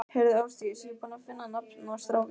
Heyrðu Ásdís, ég er búinn að finna nafn á strákinn.